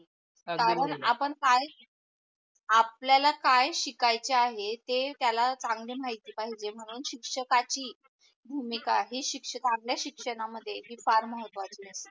आपल्याला काय शिकाच आहे ते त्याला चांगले महिती पाहिजे म्हणून शिक्षकाची भूमिका हे शिक्षक शिक्षणामध्ये हे फार महत्वाची असते.